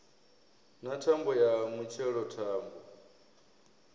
na thambo ya mutshelo thambo